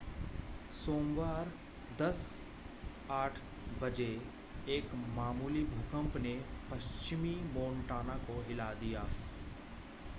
सोमवार 10:08 बजे एक मामूली भूकंप ने पश्चिमी मोंटाना को हिला दिया